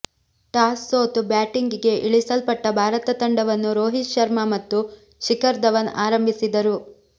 toss ಸೋತು ಬ್ಯಾಟಿಂಗಿಗೆ ಇಳಿಸಲ್ಪಟ್ಟ ಭಾರತ ತಂಡವನ್ನು ರೋಹಿತ್ ಶರ್ಮ ಮತ್ತು ಶಿಖರ್ ಧವನ್ ಆರಂಭಿಸಿದರು